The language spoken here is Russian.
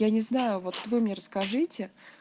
я не знаю вот вы мне расскажете